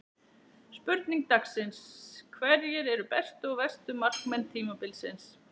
Spurning dagsins: Hverjir eru bestu og verstu markmenn tímabilsins?